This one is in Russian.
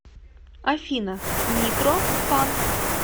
афина нитро фан